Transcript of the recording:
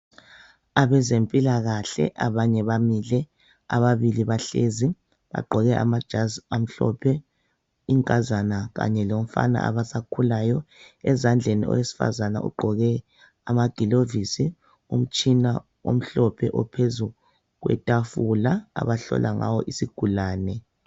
Abezempilakahle abanye bamile ababili bahlezi bagqoke amajazi amhlophe inkazana kanye lomfana abasakhulayo, ezandleni owesifazana ugqoke amagilovisi umtshina omhlophe ophezu kwetafula abahlola ngawo isigulane.